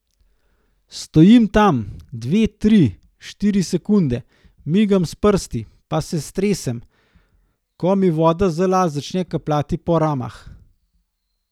Stojim tam, dve, tri, štiri sekunde, migam s prsti pa se stresem, ko mi voda z las začne kapljat po ramah.